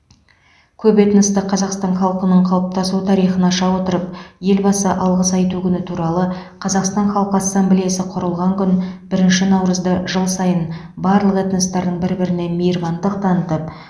көп этносты қазақстан халқының қалыптасу тарихын аша отырып елбасы алғыс айту күні туралы қазақстан халқы ассамблеясы құрылған күн бірінші наурызды жыл сайын барлық этностардың бір біріне мейірбандық танытып